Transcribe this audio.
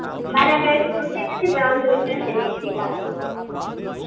મારે આજે